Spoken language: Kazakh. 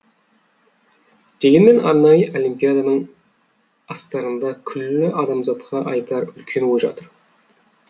дегенмен арнайы олимпиаданың астарында күллі адамзатқа айтар үлкен ой жатыр